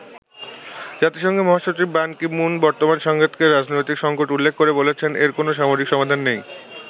জাতিসংঘের মহাসচিব Ban Ki Moon বর্তমান সংঘাতকে রাজনৈতিক সঙ্কট উল্লেখ করে বলেছেন, এর কোন সামরিক সমাধান নেই।